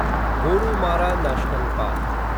Gorumara national park